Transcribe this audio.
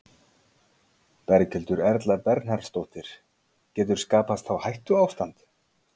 Berghildur Erla Bernharðsdóttir: Getur skapast þá hættuástand?